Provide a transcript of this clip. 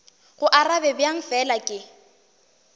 go arabe bjang fela ke